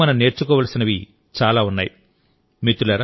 ఆయన నుండి మనం నేర్చుకోవలసినవి చాలా ఉన్నాయి